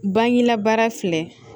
Bangela baara filɛ